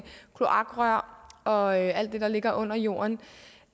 kloakrør og alt det der ligger under jorden